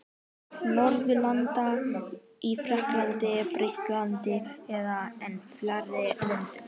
Norðurlanda: í Frakklandi, Bretlandi eða enn fjarlægari löndum.